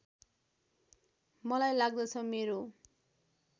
मलाई लाग्दछ मेरो